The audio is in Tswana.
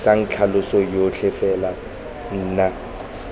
tlisang tlhaloso yotlhe fela nna